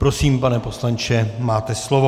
Prosím, pane poslanče, máte slovo.